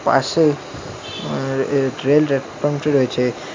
পাশে আঃ এ রয়েছে।